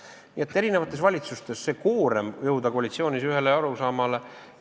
Ega see ei ole olnud kunagi eri valitsustes kerge koorem, kuidas jõuda koalitsioonis ühele arusaamale.